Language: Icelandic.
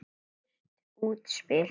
Dýrt útspil.